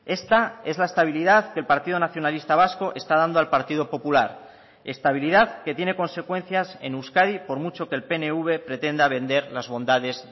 esta es la estabilidad que el partido nacionalista vasco está dando al partido popular estabilidad que tiene consecuencias en euskadi por mucho que el pnv pretenda vender las bondades